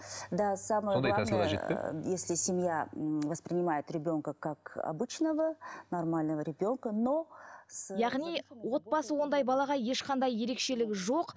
да самое главное если семья м воспринимает ребенка как обычного нормального ребенка но яғни отбасы ондай балаға ешқандай ерекшелігі жоқ